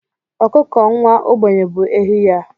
Ọkụkọ nwa ogbenye bụ ehi ya.